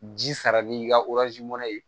Ji sara n'i ka mana ye